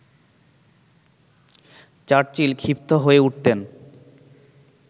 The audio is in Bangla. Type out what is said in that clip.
চার্চিল ক্ষিপ্ত হয়ে উঠতেন